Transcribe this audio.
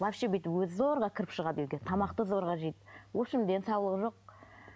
вообще бүйтіп өзі зорға кіріп шығады үйге тамақты зорға жейді в общем денсаулығы жоқ